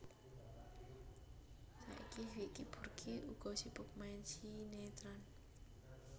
Saiki Vicky Burky uga sibuk main sinétron